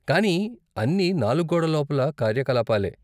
కానీ అన్ని నాలుగు గోడల లోపల కార్యకలాపాలే.